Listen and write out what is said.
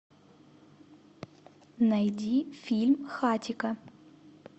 найди фильм хатико